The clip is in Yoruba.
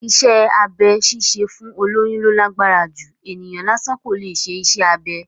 Iṣẹ́ abẹ ṣíṣe fún olóyún ló lágbára jù, ènìyàn lásán kò leè ṣe iṣẹ́ abẹ